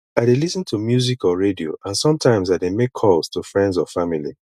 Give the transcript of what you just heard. i dey lis ten to music or radio and sometimes i dey make calls to friends or family